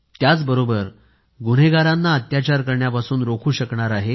त्याचबरोबर गुन्हेगारांना अत्याचार करण्यापासून रोखू शकणार आहे